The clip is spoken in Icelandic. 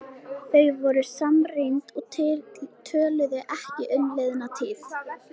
Þau voru samrýnd og töluðu ekki um liðna tíð.